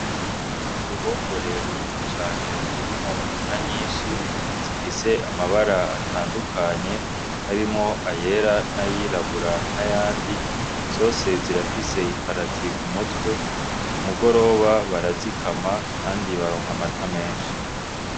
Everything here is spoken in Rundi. Uruhongore runini cane rurimwo inka nyinshi zifis'amara atandukanye harimwo ayera n'ayirabura, n'ayandi zose zose zirafise imbarati k'umutwe k'umugoroba barazikama kandi baronk'amata menshi.